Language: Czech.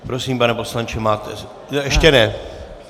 Prosím, pane poslanče máte... ještě ne.